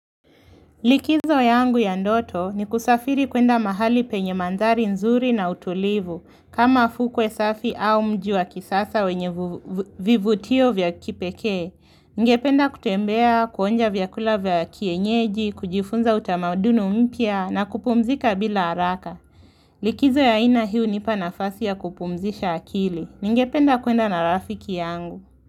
Likizo yangu ya ndoto ni kusafiri kuenda mahali penye mandhari nzuri na utulivu, kama fukwe safi au mji wa kisasa wenye vivutio vya kipeke. Nigependa kutembea, kuonja vyakula vya kienyeji, kujifunza utamaduni mpya na kupumzika bila haraka. Likizo ya aina hii hunipa nafasi ya kupumzisha akili. Nigependa kuenda na rafiki yangu.